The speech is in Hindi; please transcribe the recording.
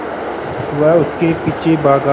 वह उसके पीछे भागा